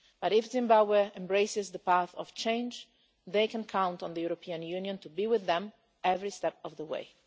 But if Zimbabweans embraces the path of change, they can count on the European Union to be with them every step of the way.